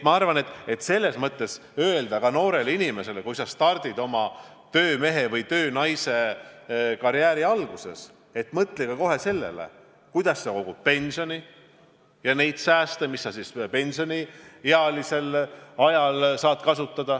Ma arvan, et ka noorele inimesele tuleb öelda, et kui sa stardid oma töömehe- või töönaisekarjääri alguses, siis mõtle kohe sellele, kuidas sa kogud pensioni ja muid sääste, mida saad pensioniajal kasutada.